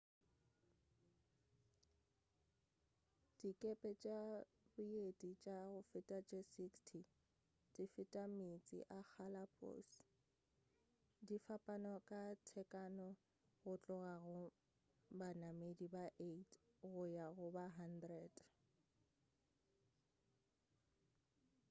dikepe tša boeti tša go feta tše 60 di feta meetse a galapos di fapana ka tekano go tloga go banamedi ba 8 go ya go ba 100